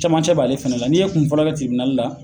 Camancɛ b'ale fɛnɛ la. Ni ye kun fɔlɔ kɛ la